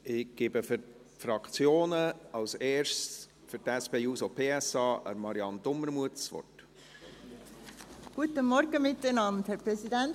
Ich gebe für die Fraktionen zuerst Marianne Dumermuth für die SP-JUSO-PSA-Fraktion das Wort.